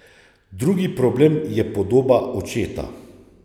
Drugi problem je podoba očeta.